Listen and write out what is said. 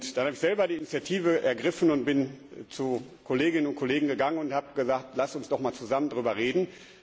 Dann habe ich selber die Initiative ergriffen und bin zu Kolleginnen und Kollegen gegangen und habe gesagt, lasst uns doch mal zusammen darüber reden.